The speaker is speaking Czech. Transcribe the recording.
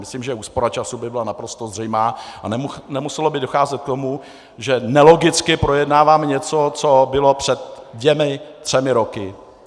Myslím, že úspora času by byla naprosto zřejmá a nemuselo by docházet k tomu, že nelogicky projednáváme něco, co bylo před dvěma třemi roky.